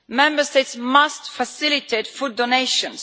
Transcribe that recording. Member States must facilitate food donations.